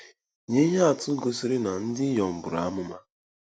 Nye ihe atụ gosiri na ndị inyom buru amụma.